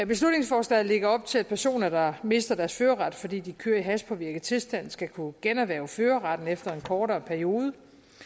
beslutningsforslaget lægger op til at personer der mister deres førerret fordi de kører i hashpåvirket tilstand skal kunne generhverve førerretten efter en kortere periode